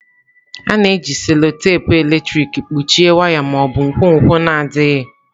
A na-eji cello-tepe eletrik kpuchie waya ma ọ bụ nkwonkwo na-adịghị.